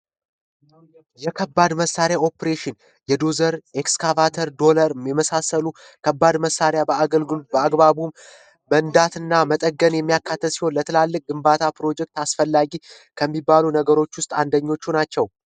ከባድ መሳሪያ ኦፕሬሽን ኤክስካቫተር ዶላር ሚመሳሰሉ ከባድ መሳሪያ በአገልጉል በአግባቡ በንዳትና መጠገን የሚያካተት ለትላልቅ ግንባታ ፕሮጀክት አስፈላጊ ከሚባሉ ነገሮች ውስጥ አንደኞቹ ናቸው